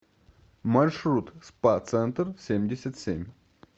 маршрут спа центр семьдесят семь